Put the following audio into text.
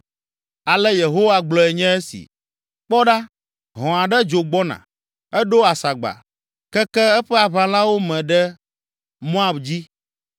Ale Yehowa gblɔe nye esi: “Kpɔ ɖa, hɔ̃ aɖe dzo gbɔna, eɖo asagba, keke eƒe aʋalawo me ɖe Moab dzi.